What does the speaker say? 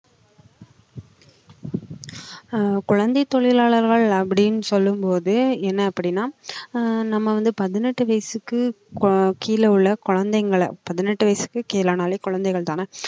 ஆஹ் குழந்தைத் தொழிலாளர்கள் அப்படின்னு சொல்லும் போது என்ன அப்படின்னா ஆஹ் நம்ம வந்து பதினெட்டு வயசுக்கு கோ~ கீழே உள்ள குழந்தைங்களை பதினெட்டு வயசுக்குக் கீழே ஆனாலே குழந்தைகள்தானே